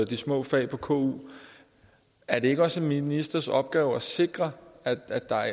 de små fag på ku er det ikke også en ministers opgave at sikre at der